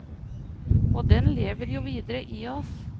Og den lever jo videre i oss.